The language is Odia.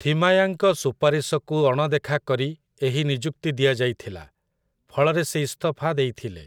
ଥିମାୟାଙ୍କ ସୁପାରିଶକୁ ଅଣଦେଖା କରି ଏହି ନିଯୁକ୍ତି ଦିଆଯାଇଥିଲା, ଫଳରେ ସେ ଇସ୍ତଫା ଦେଇଥିଲେ ।